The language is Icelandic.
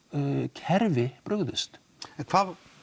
kerfi brugðust en hvað